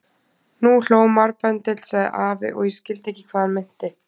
Nú hló marbendill sagði afi og ég skildi ekki hvað hann meinti.